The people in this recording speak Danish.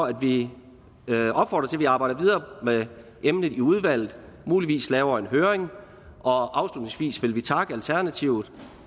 at vi arbejder videre med emnet i udvalget og muligvis laver en høring afslutningsvis vil vi takke alternativet